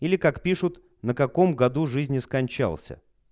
или как пишут на каком году жизни скончался